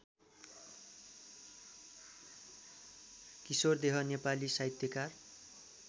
किशोरदेह नेपाली साहित्यकार